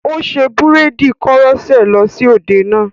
Ó ṣe búréèdì koroṣé lọ sí òde náà.